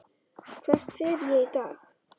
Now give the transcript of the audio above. Hvert fer ég í dag?